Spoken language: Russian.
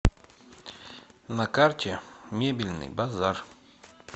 на карте мебельный базар